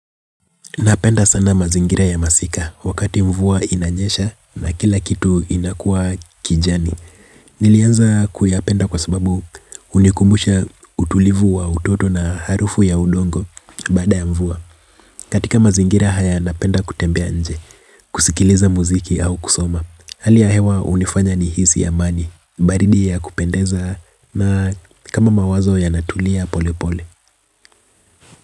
Napenda sana mazingira ya masika wakati mvua inanyesha na kila kitu inakua kijani. Nilianza kuyapenda kwa sababu unikumbusha utulivu wa utoto na harufu ya udongo baada ya mvua. Katika mazingira haya napenda kutembea nje, kusikiliza muziki au kusoma. Hali ya hewa unifanya nihisi amani, baridi ya kupendeza na kama mawazo yanatulia pole pole.